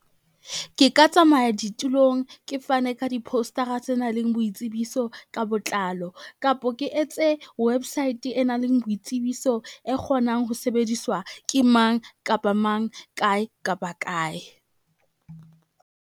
Ke ka tsamaya ditulong ke fane ka di-poster-a tse nang le boitsebiso ka botlalo. Kapa ke etse website e nang le boitsebiso e kgonang ho sebediswa ke mang kapa mang, kae kapa kae.